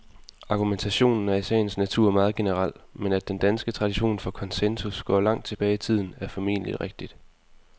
Argumentationen er i sagens natur meget generel, men at den danske tradition for konsensus går langt tilbage i tiden, er formentlig rigtigt.